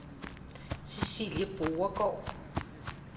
Cæcilie Borregaard